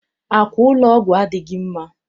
Àkwà ụlọ ọgwụ adịghị mma.